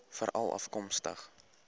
veralafkomstig